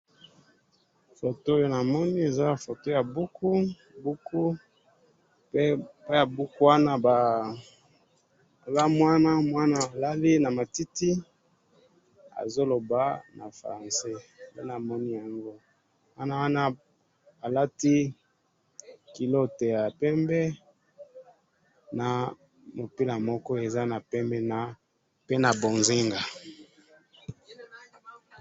foto oyo namoni eza foto ya buku buku pe na buku wana baya eza mwana alali alali na matiti azo loba na francais nde namoni yango mwana wana alati culotte ya pembe na mupila moko eza nakati ya pembe na mbonzinga